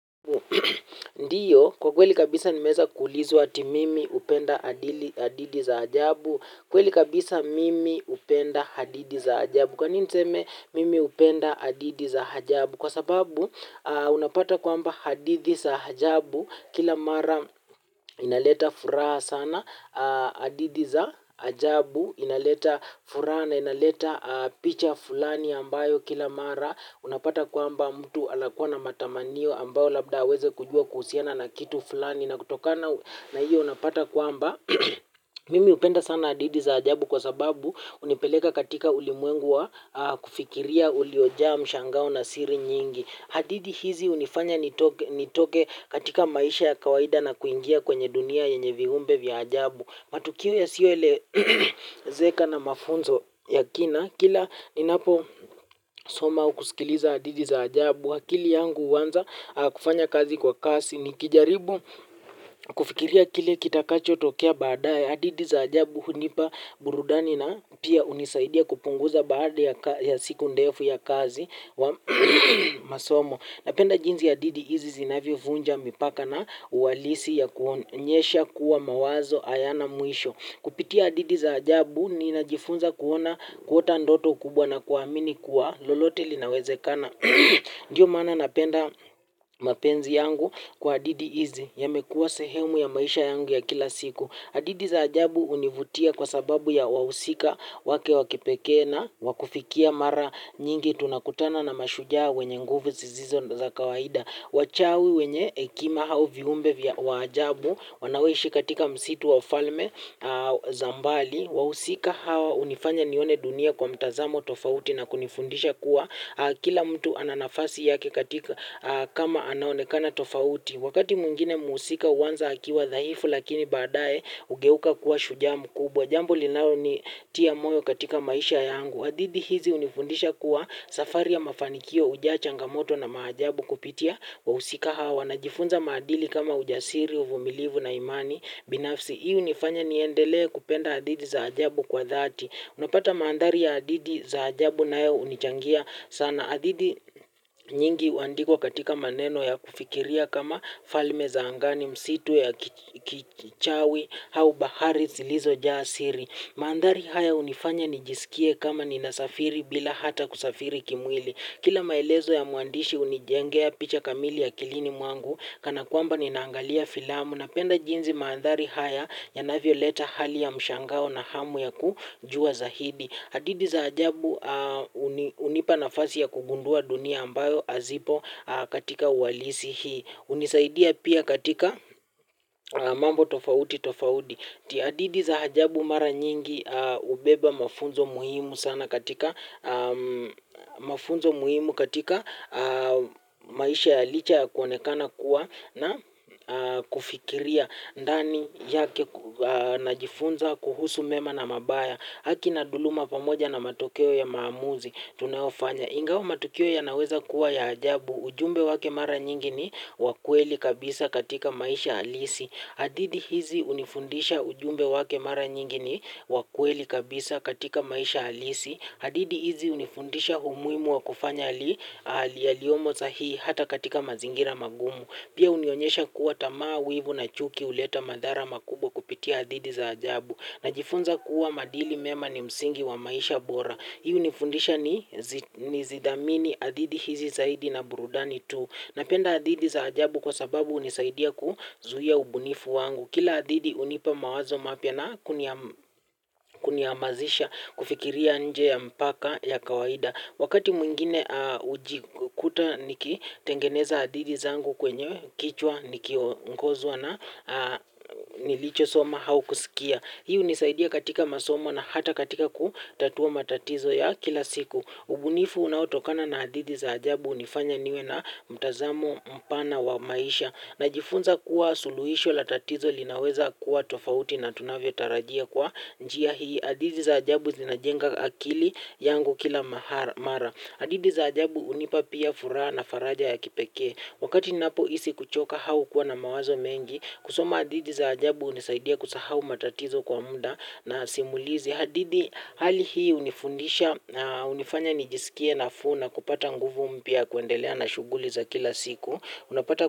Ndiyo kwa kweli kabisa nimeweza kuulizwa eti mimi hupenda hadithi za ajabu. Kweli kabisa mimi hupenda hadithi za ajabu. Kwa nini niseme mimi hupenda hadithi za ajabu. Kwa sababu unapata kwamba hadithi za ajabu kila mara inaleta furaha sana hadithi za ajabu. Inaleta furaha na inaleta picha fulani ambayo kila mara unapata kwamba mtu anakuwa na matamanio ambayo labda aweze kujua kuhusiana na kitu fulani na kutoka na hiyo unapata kwamba mimi hupenda sana hadithi za ajabu kwa sababu hunipeleka katika ulimwengu wa kufikiria uliojaa mshangao na siri nyingi hadithi hizi hunifanya nitoke katika maisha ya kawaida na kuingia kwenye dunia yenye viumbe vya ajabu matukiu yasiyo elezeka na mafunzo ya kina kila ninapo soma au kusikiliza hadithi za ajabu akili yangu huanza kufanya kazi kwa kasi nikijaribu kufikiria kile kitakacho tokea baadaye. Hadithi za ajabu hunipa burudani na pia hunisaidia kupunguza baada ya siku ndefu ya kazi wa masomo. Napenda jinsi ya hadithi hizi zinavyo vunja mipaka na uhalisi ya kuonyesha kuwa mawazo hayana mwisho. Kupitia hadithi za ajabu nina jifunza kuona kuota ndoto kubwa na kuamini kuwa lolote linawezekana. Ndio maana napenda mapenzi yangu kwa hadithi hizi yamekuwa sehemu ya maisha yangu ya kila siku hadithi za ajabu hunivutia kwa sababu ya wahusika wake wakipekee na wakufikia mara nyingi tunakutana na mashujaa wenye nguvu zisizo za kawaida. Wachawi wenye hekima au viumbe vya ajabu wanaoishi katika msitu wafalme za mbali. Wahusika hawa hunifanya nione dunia kwa mtazamo tofauti na kunifundisha kuwa kila mtu ana nafasi yake kama anaonekana tofauti. Wakati mwingine muhusika huanza akiwa dhaifu lakini baadaye hugeuka kuwa shujaa mkubwa. Jambo linalo nitia moyo katika maisha yangu. Hadithi hizi hunifundisha kuwa safari ya mafanikio hujaa changamoto na maajabu kupitia wahusika wanajifunza maadili kama ujasiri, uvumilivu na imani binafsi. Hio hunifanya niendelea kupenda hadithi za ajabu kwa dhati. Unapata mandhari ya hadithi za ajabu nayo hunichangia sana. Hadithi nyingi huandikwa katika maneno ya kufikiria kama falme za angani misitu ya kichawi au bahari zilizo jaa siri. Mandhari haya hunifanya nijisikie kama ninasafiri bila hata kusafiri kimwili. Kila maelezo ya muandishi hunijengea picha kamili ya kilini mwangu, kana kwamba ninaangalia filamu napenda jinsi mandhari haya yanavyo leta hali ya mshangao na hamu ya kujua zaidi. Hadithi za ajabu hunipa nafasi ya kugundua dunia ambayo hazipo katika uhalisi hii. Hunisaidia pia katika mambo tofauti tofauti. Hadithi za ajabu mara nyingi hubeba mafunzo muhimu sana katika mafunzo muhimu katika maisha licha ya kuonekana kuwa na kufikiria. Ndani yake najifunza kuhusu mema na mabaya. Haki na dhuluma pamoja na matokeo ya maamuzi tunayofanya. Ingao matokeo yanaweza kuwa ya ajabu ujumbe wake mara nyingi ni wakweli kabisa katika maisha halisi. Hadithi hizi hunifundisha ujumbe wake mara nyingi ni wakweli kabisa katika maisha halisi. Hadithi hizi hunifundisha umuhimu wa kufanya yaliomo sahihi hata katika mazingira magumu. Pia hunionyesha kuwa tamaa wivu na chuki huleta madhara makubwa kupitia hadithi za ajabu. Najifunza kuwa maadili mema ni msingi wa maisha bora. Hii hunifundisha nizidhamini hadithi hizi zaidi na burudani tu. Napenda hadithi za ajabu kwa sababu hunisaidia kuzuia ubunifu wangu. Kila hadithi hunipa mawazo mapya na kunihamasisha kufikiria nje ya mpaka ya kawaida. Wakati mwingine hujikuta nikitengeneza hadithi zangu kwenye kichwa niki ongozwa na nilicho soma au kusikia. Hii hunisaidia katika masomo na hata katika kutatua matatizo ya kila siku. Ubunifu unautokana na hadithi za ajabu hunifanya niwe na mtazamo pana wa maisha. Najifunza kuwa suluhisho la tatizo linaweza kuwa tofauti na tunavyo tarajia kwa njia hii. Hadithi za ajabu zinajenga akili yangu kila mara. Hadithi za ajabu hunipa pia furaha na faraja ya kipekee. Wakati ninapo hisi kuchoka au kuwa na mawazo mengi kusoma hadithi za ajabu hunisaidia kusahau matatizo kwa muda na simulizi hali hii hunifundisha na hunifanya nijisikie nafuu na kupata nguvu mpya ya kuendelea na shuguli za kila siku.